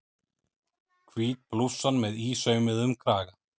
Hvít blússan með ísaumuðum kraga.